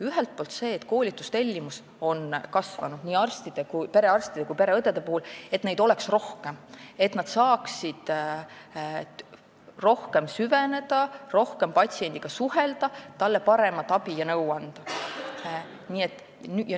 Ühelt poolt on nii perearstide kui ka pereõdede koolitustellimus kasvanud, et neid oleks rohkem, et nad saaksid rohkem süveneda ja rohkem patsiendiga suhelda ning talle paremat abi ja nõu anda.